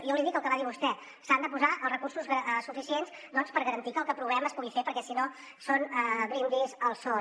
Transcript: jo li dic el que va dir vostè s’han de posar els recursos suficients per garantir que el que aprovem es pugui fer perquè si no són brindis al sol